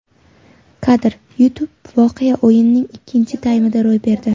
Kadr: YouTube Voqea o‘yinning ikkinchi taymida ro‘y berdi.